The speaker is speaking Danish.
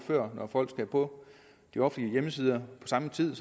når folk skal på de offentlige hjemmesider på samme tid